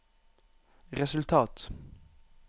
resultat